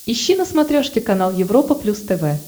ищи на смотрешке канал европа плюс тв